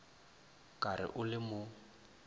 ka re o le mo